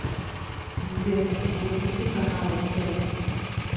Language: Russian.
сбер запусти каналы пятница